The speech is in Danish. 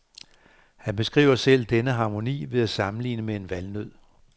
Han beskriver selv denne harmoni ved at sammenligne med en valnød.